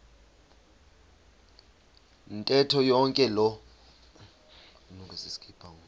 ntetho yonke loo